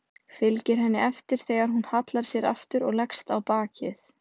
Fylgir henni eftir þegar hún hallar sér aftur og leggst á bakið.